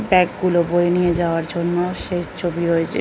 Bag গুলো বয়ে নিয়ে যাওয়ার জন্য শেষ ছবি রয়েছে।